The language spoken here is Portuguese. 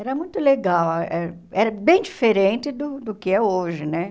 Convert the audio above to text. Era muito legal, eh era bem diferente do do que é hoje, né?